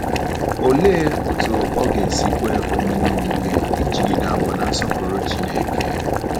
Olee otú ọ ga-esi kwe omume omume ịjigide àgwà na-nsọpụrụ Chineke?